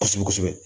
Kosɛbɛ kosɛbɛ